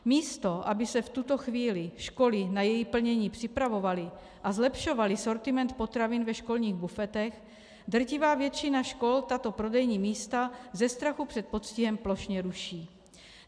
Místo aby se v tuto chvíli školy na její plnění připravovaly a zlepšovaly sortiment potravin ve školních bufetech, drtivá většina škol tato prodejní místa ze strachu před postihem plošně ruší.